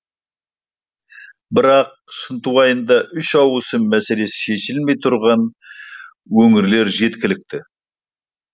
бірақ шынтуайтында үш ауысым мәселесі шешілмей тұрған өңірлер жеткілікті